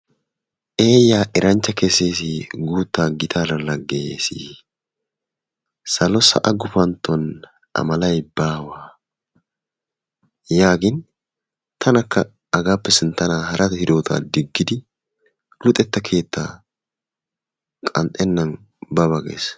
Eyyaa eranchcha kesees, guuttaa gittaara lageyees, salo sa'a gufantton A malay baawa yaagin tanakka hagaappe sinttanna hara hidotaa digidi luxxetta keettaa qanxxennan ba ba gees.